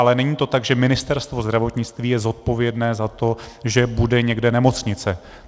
Ale není to tak, že Ministerstvo zdravotnictví je zodpovědné za to, že bude někde nemocnice.